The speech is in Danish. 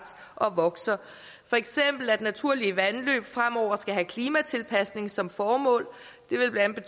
og vokser for eksempel at naturlige vandløb fremover skal have klimatilpasning som formål det vil blandt